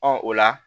Ɔ o la